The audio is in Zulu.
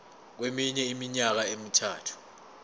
kweminye iminyaka emithathu